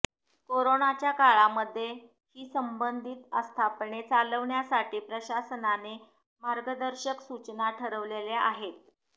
कोरोनाच्या काळामध्ये ही संबंधित आस्थापने चालविण्यासाठी प्रशासनाने मार्गदर्शक सूचना ठरवलेल्या आहेत